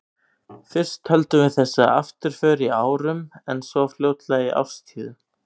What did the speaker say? Fyrst töldum við þessa afturför í árum, en svo fljótlega í árstíðum.